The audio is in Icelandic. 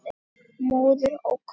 Móðir ókunn.